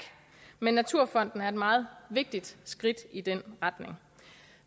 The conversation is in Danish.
men naturfonden er et meget vigtigt skridt i den retning